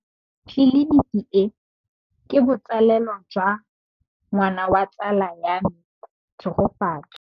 Tleliniki e, ke botsalêlô jwa ngwana wa tsala ya me Tshegofatso.